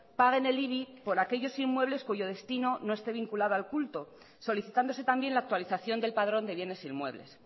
paguen el ibi por aquellos inmuebles cuyo destino no esté vinculado al culto solicitándose también la actualización del padrón de bienes e inmuebles